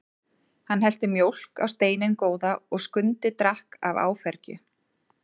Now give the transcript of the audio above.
Hann hellti mjólk á steininn góða og Skundi drakk af áfergju.